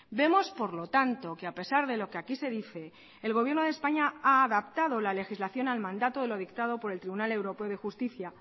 vemos por lo tanto que a pesar de lo que aquí se dice el gobierno de españa ha adaptado la legislación al mandato de lo dictado por el tribunal europeo de justicia